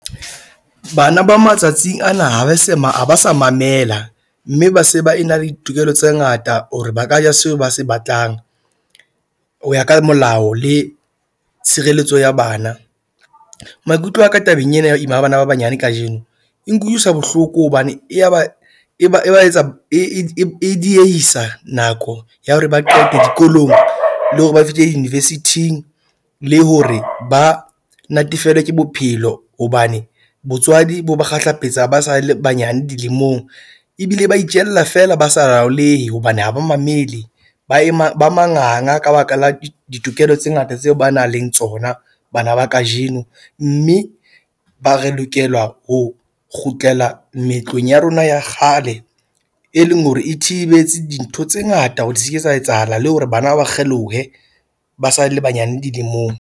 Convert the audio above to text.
Bana ba matsatsing ana ha ba se ha ba sa mamela, mme ba se ba e na le tokelo tse ngata hore ba ka ja seo ba se batlang. Ho ya ka molao le tshireletso ya bana maikutlo a ka tabeng ena ya ho ima ha bana ba banyane kajeno, e nkutlwisa bohloko hobane e ba e ba e ba etsa e e e diehisa nako ya hore ba qete dikolong. Le hore ba fihle di-university-ing le hore ba natefelwe ke bophelo. Hobane botswadi bo ba kgahlapetsa ba sa le banyane dilemong ebile ba itjella fela, ba sa laolehe hobane ha ba mamele ba ema ba manganga ka baka la ditokelo tse ngata tseo ba nang le tsona, bana ba kajeno. Mme ba re lokela ho kgutlela meetlong ya rona ya kgale, e leng hore e thibetse dintho tse ngata di se ke sa etsahala le hore bana ba kgelohe ba sa le banyane dilemong.